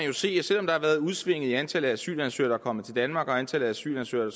jo se at selv om der har været udsving i antallet af asylansøgere der er kommet til danmark og antallet af asylansøgere